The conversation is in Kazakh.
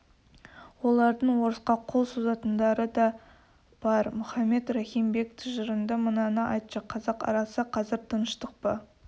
олардың орысқа қол созатындары да бар мұхаммед рахим бек тыжырынды мынаны айтшы қазақ арасы қазір тыныштықпа